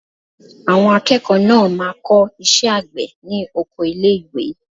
Àwọn akẹ́kọ̀ọ́ náà máa kọ́ iṣẹ́ àgbẹ̀ ní oko ilé ìwé.